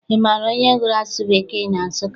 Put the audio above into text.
Ị maara onye gụrụ asụsụ Bekee na Nsụka?